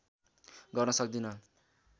गर्न सक्दिन